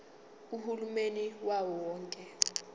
uhulumeni wawo wonke